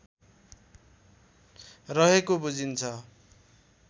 रहेको बुझिन्छ